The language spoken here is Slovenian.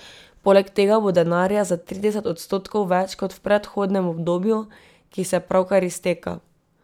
Poleg tega bo denarja za trideset odstotkov več kot v predhodnem obdobju, ki se pravkar izteka.